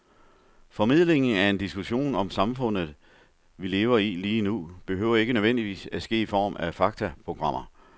Formidlingen af en diskussion om det samfund, vi lever i lige nu, behøver ikke nødvendigvis at ske i form af faktaprogrammer.